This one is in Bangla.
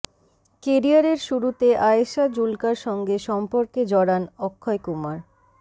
কেরিয়ারের শুরুতে আয়েশা জুলকার সঙ্গে সম্পর্কে জড়ান অক্ষয় কুমার